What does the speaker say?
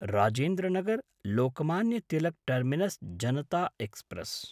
Rajendra नगर्–लोकमान्य Tilak terminus Janata express